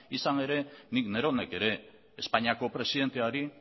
izan ere nik neronek ere espainiako presidenteari